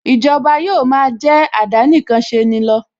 Ìjọba yóò ma jẹ́ àdánìkanṣeni lọ